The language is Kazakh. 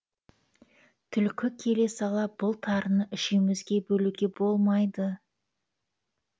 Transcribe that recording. түлкі келе сала бұл тарыны үшеуімізге бөлуге болмайды